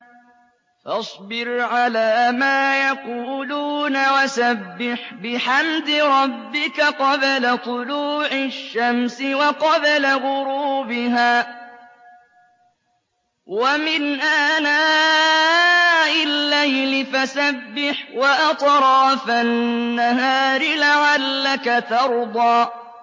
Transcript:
فَاصْبِرْ عَلَىٰ مَا يَقُولُونَ وَسَبِّحْ بِحَمْدِ رَبِّكَ قَبْلَ طُلُوعِ الشَّمْسِ وَقَبْلَ غُرُوبِهَا ۖ وَمِنْ آنَاءِ اللَّيْلِ فَسَبِّحْ وَأَطْرَافَ النَّهَارِ لَعَلَّكَ تَرْضَىٰ